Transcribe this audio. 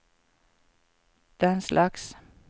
denslags